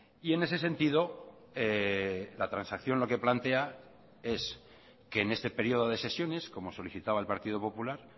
y en ese sentido la transacción lo que plantea es que en este periodo de sesiones como solicitaba el partido popular